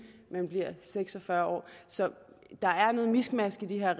man bliver seks og fyrre år så der er noget miskmask i lige